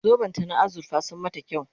zoben ta na azurfa sun mata kyau